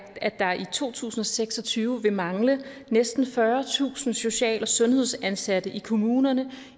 at der i to tusind og seks og tyve vil mangle næsten fyrretusind social og sundhedsansatte i kommunerne